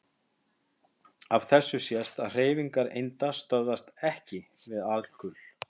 Af þessu sést að hreyfingar einda stöðvast EKKI við alkul.